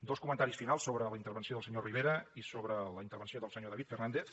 dos comentaris finals sobre la intervenció del senyor rivera i sobre la intervenció del senyor david fernàndez